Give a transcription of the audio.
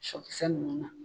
Sɔ kisɛ ninnu na